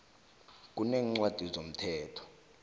kuneencwadi zomthetho